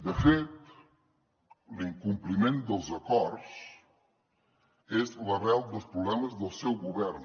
de fet l’incompliment dels acords és l’arrel dels problemes del seu govern